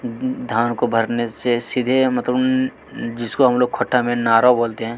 धान को भरने से सीधे मतलब जिसको हमको खट्टा में नाडा बोलते हैं।